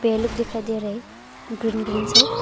पेड़ लोग दिखाई दे रहे ग्रीन ग्रीन से।